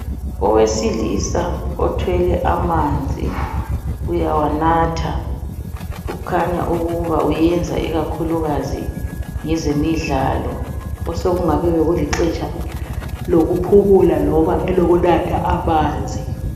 Owesilisa othwele amanzi uyawanatha kukhanya ukuba uyenza ikakhulukazi ngezemidlalo osekungabe bekulixetsha lokuphumula loba ukunatha amanzi.